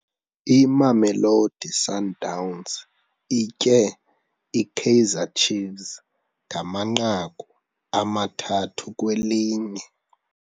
Imamelodi Sundowns itye iKaizer Chiefs ngamanqaku amathathu kwelinye.